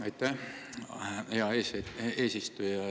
Aitäh, hea eesistuja!